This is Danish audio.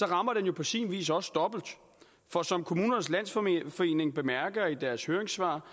rammer jo på sin vis også dobbelt for som kommunernes landsforening bemærker i deres høringssvar